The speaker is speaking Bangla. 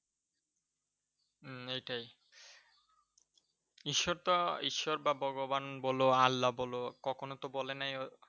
হম এইতাই। ঈশ্বর তা ভগবান বল বা আল্লা বল কখনও তো বলে নাই